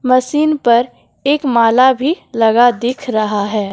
Machine पर एक माला भी लगा दिख रहा है।